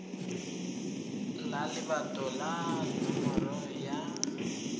la lebato le nomoro ya